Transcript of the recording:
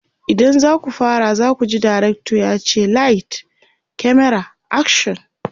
idan zaku fara zakuji dirctor yace "light, camera, action!"